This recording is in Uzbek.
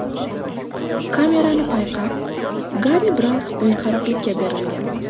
Kamerani payqab, Garri biroz o‘yinqaroqlikka berilgan.